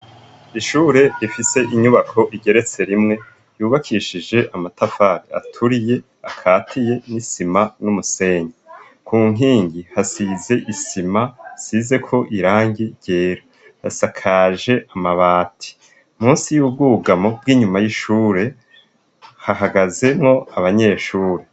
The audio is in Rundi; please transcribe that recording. Ishure rifise inyubako igeretse rimwe yubakishije amatafari aturiye akatiye n'isima n'umusenyi ku nkingi hasize isima hasizeko irangi ryera hasakaje amabati munsi y'ubwugamo bw'inyuma y'ishure hahagazemwo abanyeshuri.